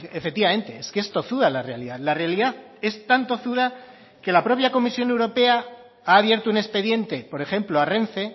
efectivamente es que es tozuda la realidad la realidad es tan tozuda que la propia comisión europea ha abierto un expediente por ejemplo a renfe